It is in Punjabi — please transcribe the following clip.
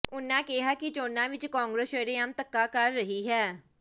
ਉਨ੍ਹਾਂ ਕਿਹਾ ਕਿ ਚੋਣਾਂ ਵਿਚ ਕਾਂਗਰਸ ਸ਼ਰੇਆਮ ਧੱਕਾ ਕਰ ਰਹੀ ਹੈ